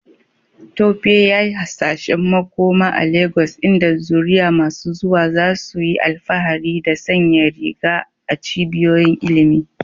Tope yayi hasashen makoma a Legas inda zuriya masu zuwa za su yi alfahari da sanya riga a cibiyoyin ilimi.